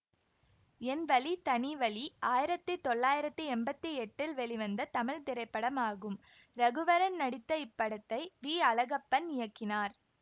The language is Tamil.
என் வழி தனி வழி ஆயிரத்தி தொள்ளாயிரத்தி எம்பத்தி எட்டில் வெளிவந்த தமிழ் திரைப்படமாகும் ரகுவரன் நடித்த இப்படத்தை வி அழகப்பன் இயக்கினார்